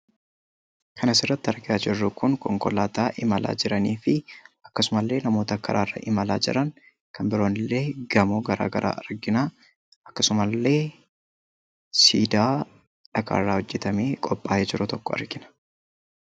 Kan asirratti argaa jirru Kun, konkolaataa imalaa jiranii fi akkasuma illee namoota karaa irra imalaa jiran kan biroo immoo gamoo garaagaraa argina, akkasuma illee siidaa dhagaa irraa hojjetamee qophaa'ee jiru argina.